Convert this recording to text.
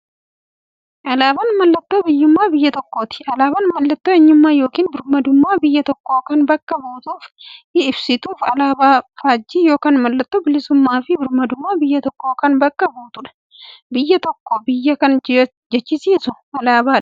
Alaabaan mallattoo biyyummaa biyya tokkooti. Alaabaan mallattoo eenyummaa yookiin birmadummaa biyya tokkoo kan bakka buutuuf ibsituudha. Alaabaan faajjii yookiin mallattoo bilisummaafi birmadummaa biyya tokkoo kan bakka buutuudha. Biyya tokko biyya kan jechisisuu alaabaadha.